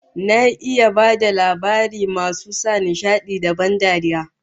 Na iya bada labarai masu sa nishadi da ban dariya